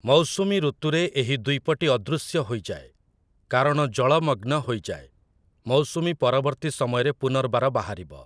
ମୌସୁମୀ ଋତୁରେ ଏହି ଦ୍ୱୀପଟି ଅଦୃଶ୍ୟ ହୋଇଯାଏ, କାରଣ ଜଳମଗ୍ନ ହୋଇଯାଏ । ମୌସୁମୀ ପରବର୍ତ୍ତୀ ସମୟରେ ପୁନର୍ବାର ବାହାରିବ ।